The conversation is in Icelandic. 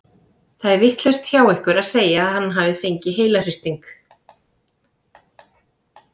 Það er vitlaust hjá ykkur að segja að hann hafi fengið heilahristing.